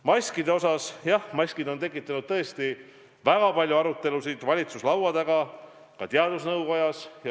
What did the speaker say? Maskidest nii palju, et maskid on tekitanud väga palju arutelusid valitsuse laua taga, ka teadusnõukojas.